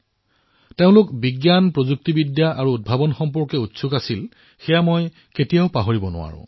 তেওঁলোকৰ মনত বিজ্ঞান প্ৰযুক্তি আৰু উদ্ভাৱনক লৈ যি উৎসুকতা আছিল সেয়া মই কেতিয়াও পাহৰিব নোৱাৰো